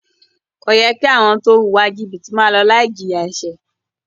Kò yẹ kí àwọn tó ń wùwà jìbìtì máa lọ láì jìyà ẹ̀ṣẹ̀.